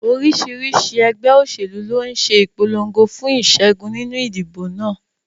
Oríṣiríṣi ẹgbẹ́ òṣèlú ló ń ṣe ìpolongo fún ìṣẹ́gun nínú ìdìbò náà.